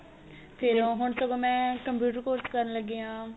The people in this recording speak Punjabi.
ਫੇਰ ਓ ਹੁਣ ਸਗੋ ਮੈਂ computer course ਕਰਨ ਲੱਗੀ ਆ